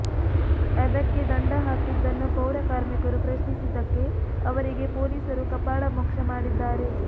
ಅದಕ್ಕೆ ದಂಡ ಹಾಕಿದ್ದನ್ನು ಪೌರ ಕಾರ್ಮಿಕರು ಪ್ರಶ್ನಿಸಿದ್ದಕ್ಕೆ ಅವರಿಗೆ ಪೊಲೀಸರು ಕಪಾಳ ಮೋಕ್ಷ ಮಾಡಿದ್ದಾರೆ